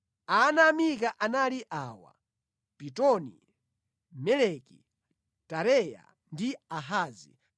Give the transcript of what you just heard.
Ana a Mika anali awa: Pitoni, Meleki, Tareya ndi Ahazi.